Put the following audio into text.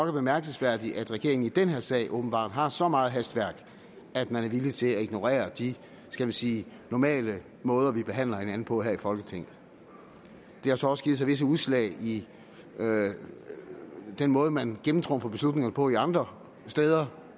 er bemærkelsesværdigt at regeringen i den her sag åbenbart har så meget hastværk at man er villig til at ignorere de skal vi sige normale måder vi behandler hinanden på her i folketinget det har så også givet sig visse udslag i den måde man gennemtrumfer beslutningerne på andre steder